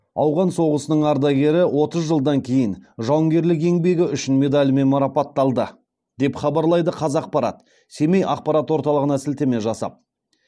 ауған соғысының ардагері отыз жылдан кейін жауынгерлік еңбегі үшін медалімен марапатталды деп хабарлайды қазақпарат семей ақпарат орталығына сілтеме жасап